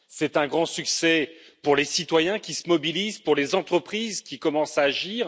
C'est un grand succès pour les citoyens qui se mobilisent, pour les entreprises qui commencent à agir.